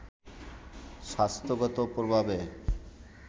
স্বাস্থ্যগত প্রভাবের